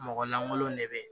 Mɔgɔ langolon de bɛ yen